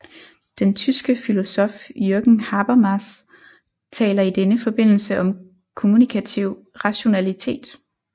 Den tyske filosof Jürgen Habermas taler i denne forbindelse om kommunikativ rationalitet